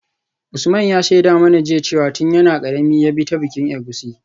Usman ya shaida mana jiya cewa tun yana karami ya bi ta bikin egusi.